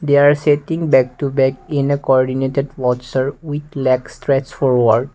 there are setting back to back in a cordinated with legs strech forward.